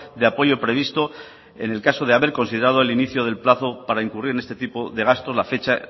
de apoyo previsto en el caso de haber considerado el inicio del plazo para incurrir en este tipo de gastos la fecha